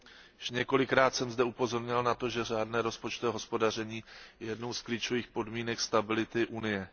Již několikrát jsem zde upozorňoval na to, že řádné rozpočtové hospodaření je jednou z klíčových podmínek stability Unie.